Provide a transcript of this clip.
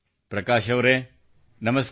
ಪ್ರಕಾಶ್ಅವರೇ ನಮಸ್ಕಾರ